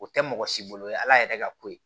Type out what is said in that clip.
O tɛ mɔgɔ si bolo ye ala yɛrɛ ka ko ye